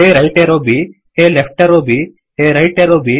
A right arrow ಬ್ A left arrow ಬ್ A right arrow B